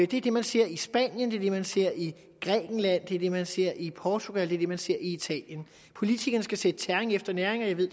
det er det man ser i spanien det man ser i grækenland det er det man ser i portugal det er det man ser i italien politikerne skal sætte tæring efter næring og jeg ved